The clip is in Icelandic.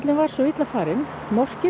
var svo illa farinn